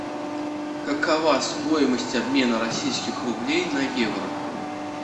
какова стоимость обмена российских рублей на евро